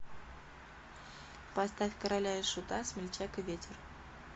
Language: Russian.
поставь короля и шута смельчак и ветер